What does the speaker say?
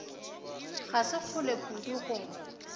ga se kgole kudu go